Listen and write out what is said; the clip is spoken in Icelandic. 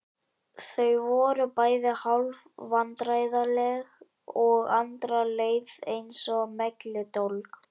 Þau voru bæði hálf vandræðaleg og Andra leið eins og melludólg.